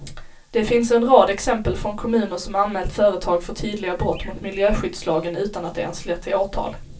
Det finns en rad exempel från kommuner som anmält företag för tydliga brott mot miljöskyddslagen utan att det ens lett till åtal.